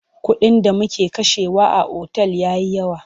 Kuɗin da muke kashewa a otal ya yi yawa.